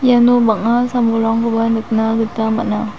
iano bang·a sam-bolrangkoba nikna gita man·a.